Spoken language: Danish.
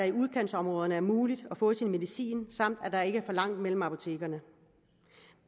i udkantsområderne er muligt at få sin medicin samt at der ikke så langt imellem apotekerne